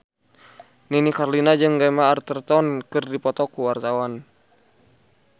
Nini Carlina jeung Gemma Arterton keur dipoto ku wartawan